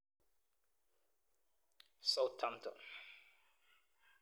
Southampton.